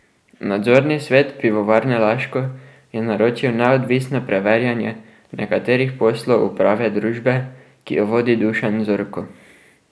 Nadzorni svet Pivovarne Laško je naročil neodvisno preverjanje nekaterih poslov uprave družbe, ki jo vodi Dušan Zorko.